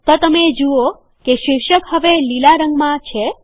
તો તમે જુઓ કે શીર્ષક હવે લીલા રંગમાં છે